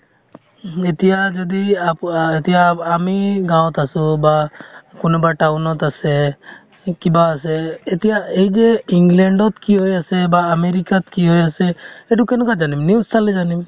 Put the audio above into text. উম, এতিয়া যদি আপো আ এতিয়া আ~ আমি গাঁৱত আছো বা কোনোবা town ত আছে সেই কিবা আছে এতিয়া এই যে ইংলেণ্ডত কি হৈ আছে বা আমেৰিকাত কি হৈ আছে সেইটো কেনেকৈ জানিম news চালে জানিম